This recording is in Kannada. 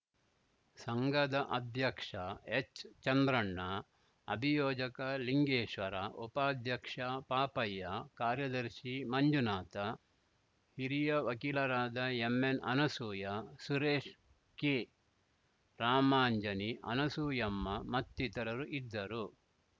ಸಂಘದ ಅಧ್ಯಕ್ಷ ಹೆಚ್‌ ಚಂದ್ರಣ್ಣ ಅಭಿಯೋಜಕ ಲಿಂಗೇಶ್ವರ ಉಪಾಧ್ಯಕ್ಷ ಪಾಪಯ್ಯ ಕಾರ್ಯದರ್ಶಿ ಮಂಜುನಾಥ ಹಿರಿಯ ವಕೀಲರಾದ ಎಂಎನ್‌ ಅನಸೂಯ ಸುರೇಶ್ ಕೆ ರಾಮಾಂಜಿನಿ ಅನಸೂಯಮ್ಮ ಮತ್ತಿತರರಿದ್ದರು